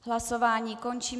Hlasování končím.